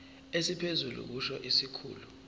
esiphezulu kusho isikhulu